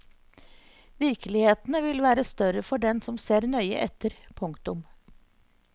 Virkelighetene vil være større for den som ser nøye etter. punktum